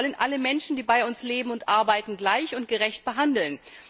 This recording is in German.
Wir wollen alle Menschen, die bei uns leben und arbeiten, gleich und gerecht behandeln.